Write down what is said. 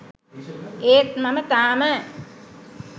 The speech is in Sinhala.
ඒත් මම තාම